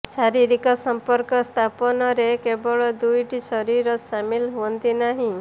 ଶାରୀରିକ ସଂପର୍କ ସ୍ଥାପନରେ କେବଳ ଦୁଇଟି ଶରୀର ସାମିଲ୍ ହୁଅନ୍ତି ନାହିଁ